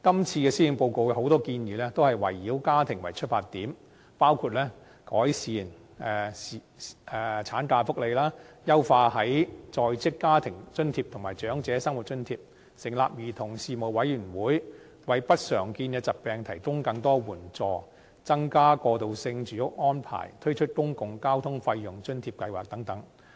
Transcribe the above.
這份施政報告有很多建議，都是圍繞家庭為出發點，包括改善產假福利、優化低收入在職家庭津貼及長者生活津貼、成立兒童事務委員會、為不常見疾病提供更多援助、增加過渡性住屋供應、推出公共交通費用補貼計劃等。